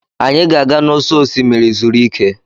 Anyị ga-aga n'ụsọ osimiri zuru ike.